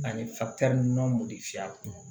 Ani nɔnɔ mɔdi fiyɛ a kun